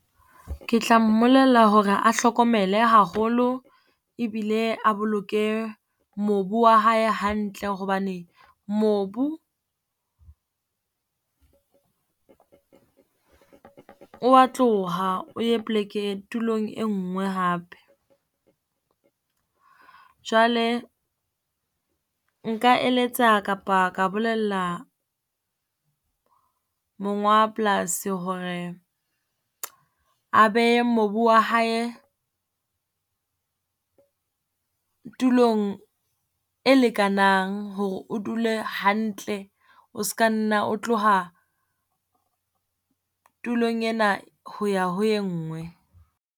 Ke tla mmolella hore a hlokomele haholo e bile a boloke mobu wa hae hantle, hobane mobu o wa tloha o ye poleke, tulong e ngwe hape. Jwale nka eletsa kapa ka bolella monga polasi hore a behe mobu wa hae tulong e lekanang, hore o dule hantle, o ska nna o tloha tulong ena ho ya ho e ngwe.